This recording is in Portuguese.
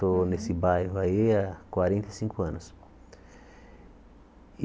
Estou nesse bairro aí há quarenta e cinco anos.